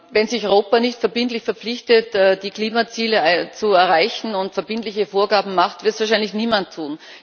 Wenn sich Europa nicht verbindlich verpflichtet, die Klimaziele zu erreichen, und verbindliche Vorgaben macht, wird es wahrscheinlich niemand tun.